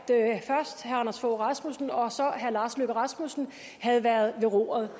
anders fogh rasmussen og så herre lars løkke rasmussen havde været ved roret